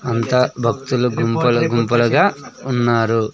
అంత భక్తులు గుంపలు గుంపలుగా ఉన్నారు.